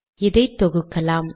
இதை தொகுக்கலாம்